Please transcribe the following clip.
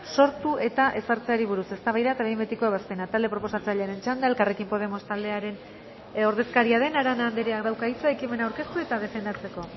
sortu eta ezartzeari buruz eztabaida eta behin betiko ebazpena talde proposatzailearen txanda elkarrekin podemos taldearen ordezkaria den arana andreak dauka hitza ekimena aurkeztu eta defendatzeko